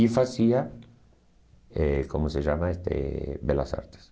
E fazia, eh como se chama este, Belas Artes.